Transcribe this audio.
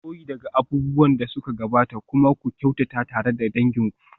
Koyi daga abubuwan da suka gabata kuma ku kyautata tare da dangin ku.